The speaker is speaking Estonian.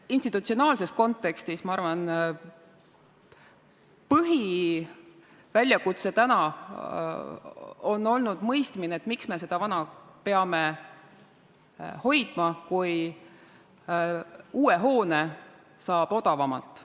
Institutsionaalses kontekstis, ma arvan, on põhiväljakutse olnud mõista, miks me seda vana peame hoidma, kui uue hoone saab odavamalt.